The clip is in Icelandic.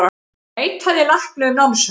Neitaði lækni um námsferð